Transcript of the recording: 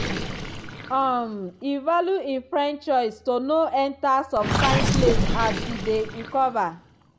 um e value e friend choice to no enta some kain place as e dey recover